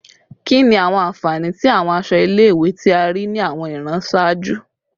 Kini awọn anfani ti awọn aṣọ ile-iwe ti a rii ni awọn iran iṣaaju?